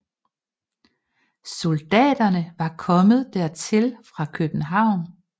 Soldaterne var kommet dertil fra København